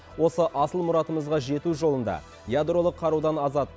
осы асыл мұратымызға жету жолында ядролық қарудан азат